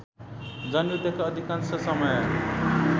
जनयुद्धका अधिकांश समय